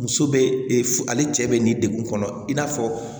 Muso bɛ e f ale cɛ bɛ nin degun kɔnɔ i n'a fɔ